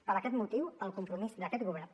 per aquest motiu el compromís d’aquest govern